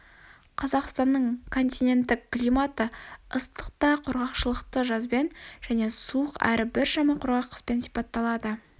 қазақстанның континенттік климаты ыстық та құрғақшылықты жазбен және суық әрі біршама құрғақ қыспен сипатталады